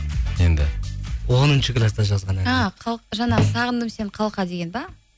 енді оныншы класста жазған ән а жаңағы сағындым сені қалқа деген бе